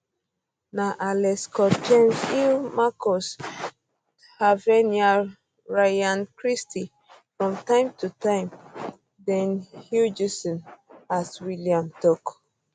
na alex scott james hill marcus tavernier ryan christie from time to to time dean huijsen as wellim tok